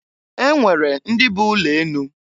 E nwere ndị bụ ụlọ enụ.